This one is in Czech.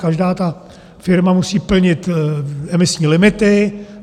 Každá ta firma musí plnit emisní limity.